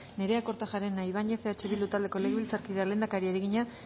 nerea kortajarena ibañez eh bildu taldeko legebiltzarkideak lehendakariari egina